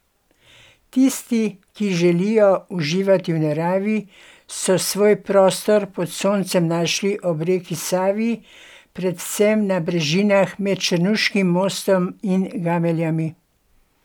Tisti, ki želijo uživati v naravi, so svoj prostor pod soncem našli ob reki Savi, predvsem na brežinah med Črnuškim mostom in Gameljnami.